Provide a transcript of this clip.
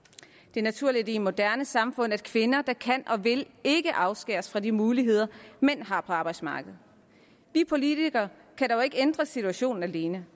det er naturligt i et moderne samfund at kvinder der kan og vil ikke afskæres fra de muligheder mænd har på arbejdsmarkedet vi politikere kan dog ikke ændre situationen alene